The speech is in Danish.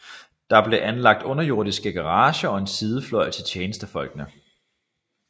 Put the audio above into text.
Der blev anlagt underjordiske garager og en sidefløj til tjenestefolkene